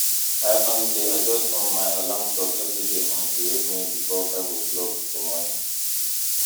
i um dey adjust um my alarm clock every day um to wake me before five oclock for morning